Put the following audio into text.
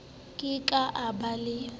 ke ke a ba a